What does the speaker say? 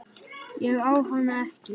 Ég á hana ekki.